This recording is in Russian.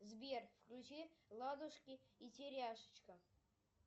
сбер включи ладушки и теряшечка